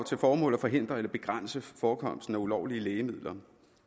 til formål at forhindre eller begrænse forekomsten af ulovlige lægemidler